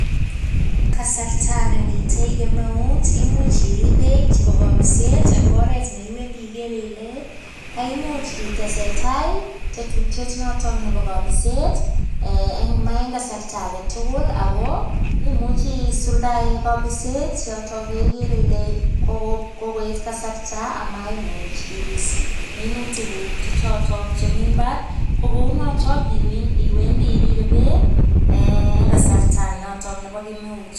Kasarta nemitei kemeut, imuch irib beek chebo kabiset eng oret ne iwendi igere ile, kaimuch itesetai tetutiet notok nebo kabiset eng kasarta age tugul ago, imuchi isuldae kabiset yotok yegere ile kogo kogoet kasarta amaimuch ibis minutiguk che choto chemi mbar. Ko kounotok iwendi iribe beek eng kasarta notok nebo kemeut.